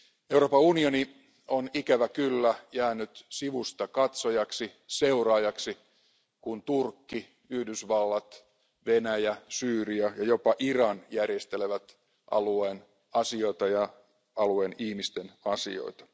Euroopan unioni on ikävä kyllä jäänyt sivustakatsojaksi, seuraajaksi, kun Turkki, Yhdysvallat, Venäjä, Syyria ja jopa Iran järjestelevät alueen asioita ja alueen ihmisten asioita.